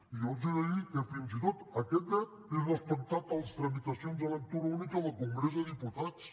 i jo els he de dir que fins i tot aquest dret és respectat a les tramitacions de lectura única del congrés dels diputats